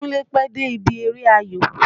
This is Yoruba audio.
Kúnlé pẹ́ dé ibi eré ayò.